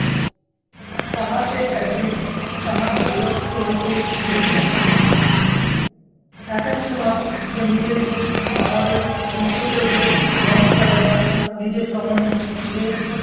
তাহাতে একদিন তাহাকে বিরক্ত হইতে দেখি নাই। এক এক সময় সে নিজেই আমাদের মন্তব্যের উপর রঙ চড়াইয়া নিজের সমন~ধে